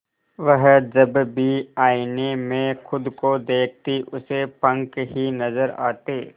वह जब भी आईने में खुद को देखती उसे पंख ही नजर आते